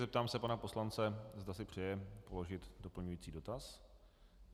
Zeptám se pana poslance, zda si přeje položit doplňující dotaz.